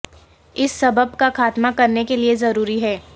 اس سبب کا خاتمہ کرنے کے لئے ضروری ہے